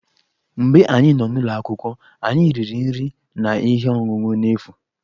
Mgbe anyị nọ n'ụlọ akwụkwọ, anyị riri nri na ihe ọṅụṅụ n'efu.